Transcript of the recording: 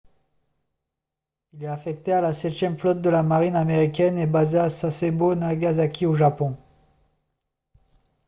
il est affecté à la septième flotte de la marine américaine et basé à sasebo nagasaki au japon